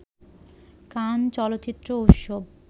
কান চলচ্চিত্র উৎসব